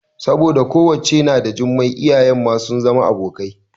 Saboda ƙawance na da Jummai iyayen ma sun zama abokai